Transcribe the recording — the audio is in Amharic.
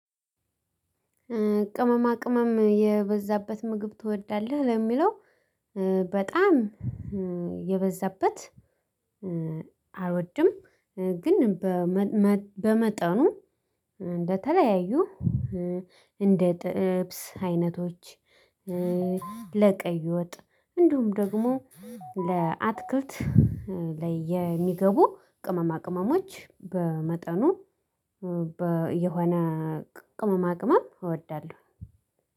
ቅመማ ቅመም የበዛበት ምግብ ትወዳለህ ለሚለው በጣም የበዛበት አልወድም። ግን በመጠኑ እንደተለያዩ እንደ ጥብስ አይነቶች ለቀይ ወጥ እንደውም ደግሞ ለአትክልት ለየሚገቡ ቅመማ ቅመሞች በመጠኑ የሆነ ቅመማ ቅመም እወዳለሁ።